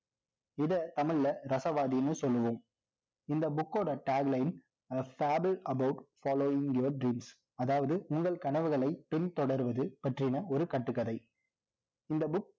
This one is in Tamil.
இதை தமிழ்ல ரசவாதின்னு சொல்லுவோம் இந்த book ஓட tagline a fabul about following your dreams அதாவது உங்கள் கனவுகளை பின்தொடர்வது பற்றின ஒரு கட்டுக்கதை இந்த book